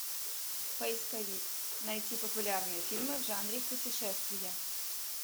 поисковик найти популярные фильмы в жанре путешествия